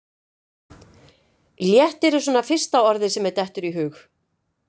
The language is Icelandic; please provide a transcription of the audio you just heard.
Léttir er svona fyrsta orðið sem mér dettur í hug.